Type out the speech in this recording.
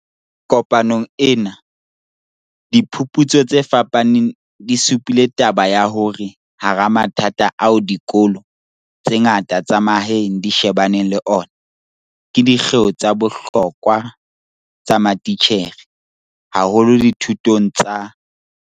Kopanong ena, diphu putso tse fapaneng di supile taba ya hore hara mathata ao dikolo tse ngata tsa mahaeng di shebaneng le ona ke di kgeo tsa bohlokwa tsa matitjhere, haholo dithutong tsa